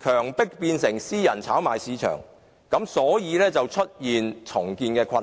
強迫這類房屋變成私人炒賣項目，所以才會出現重建困難。